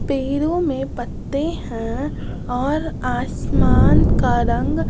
पेरों में पत्ते हैं और आसमान का रंग --